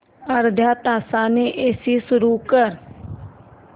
अर्ध्या तासाने एसी सुरू कर